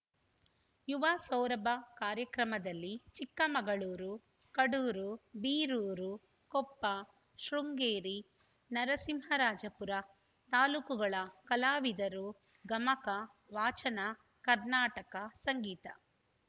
ಯುವ ಸೌರಭ ಕಾರ್ಯಕ್ರಮದಲ್ಲಿ ಚಿಕ್ಕಮಗಳೂರು ಕಡೂರು ಬೀರೂರು ಕೊಪ್ಪ ಶೃಂಗೇರಿ ನರಸಿಂಹರಾಜಪುರ ತಾಲೂಕುಗಳ ಕಲಾವಿದರು ಗಮಕ ವಾಚನ ಕರ್ನಾಟಕ ಸಂಗೀತ